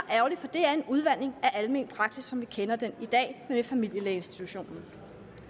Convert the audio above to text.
det er en udvanding af almen praksis som vi kender den i dag med familielægeinstitutionen